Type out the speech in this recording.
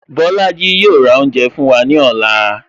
Bolaji yo ra oúnjẹ fún wa ní ọ̀la